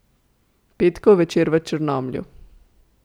Petkov večer v Črnomlju.